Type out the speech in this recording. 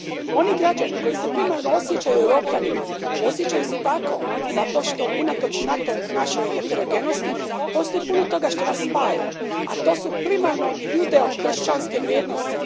Oni građani koji se primarno osjećaju Europljanima, osjećaju se tako zato što, unatoč našoj heterogenosti, postoji puno toga što nas spaja, a to su primarno judeo kršćanske vrijednosti.